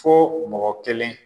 Fo mɔgɔ kelen